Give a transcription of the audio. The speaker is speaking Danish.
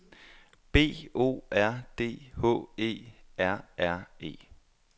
B O R D H E R R E